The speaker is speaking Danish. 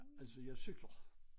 Altså jeg cykler